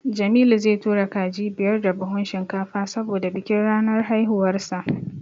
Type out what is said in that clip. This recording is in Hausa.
Jamilu zai tura kaji biyar da buhun shinkafa saboda bikin ranar haihuwarsa.